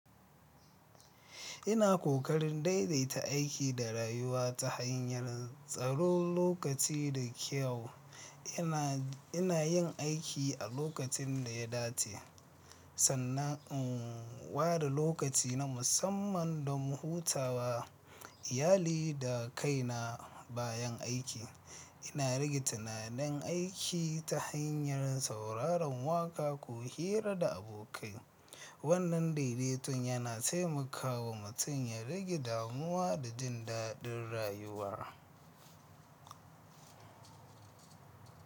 Ina kokarin daidaita aiki da rayuwa ta hanyar tsaron lokaci da kyau. Ina, ina yin aiki a lokacin da ya dace, sannan in ware lokaci na musamman don hutawa, iyali da kaina bayan aiki. Ina rage tunanin aiki ta hanyar sauraron waƙa ko hira da abokai. Wannan daidaitun yana taimakawa mutum ya rage damuwa da jin daɗin rayuwa.